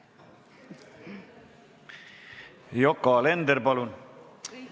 Yoko Alender, palun!